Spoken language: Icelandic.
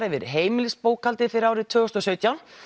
yfir heimilisbókhaldið fyrir árið tvö þúsund og sautján